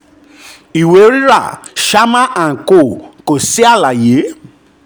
ìwé rírà sharma & co kò sí àlàyé